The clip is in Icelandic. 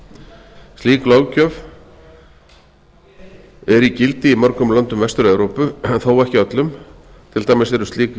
kosningabaráttu slík löggjöf er í gildi í mörgum löndum vestur evrópu þó ekki öllum til dæmis eru slík